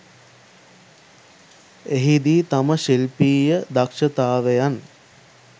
එහිදී තම ශිල්පීය දක්ෂතාවයන්